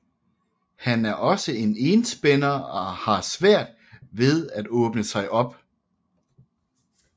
Han er også en enspænder og har svært ved at åbne sig op